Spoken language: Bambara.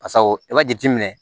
Pasa o i b'a jateminɛ